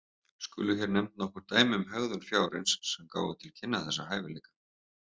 Skulu hér nefnd nokkur dæmi um hegðun fjárins sem gáfu til kynna þessa hæfileika.